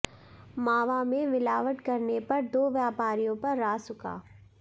मावा में मिलावट करने पर दो व्यापारियों पर रासुका